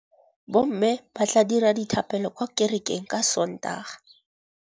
Bommê ba tla dira dithapêlô kwa kerekeng ka Sontaga.